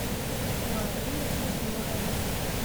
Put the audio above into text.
марина егорова